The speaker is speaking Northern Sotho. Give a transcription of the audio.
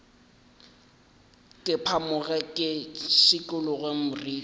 ke phamoge ke šikologe moriti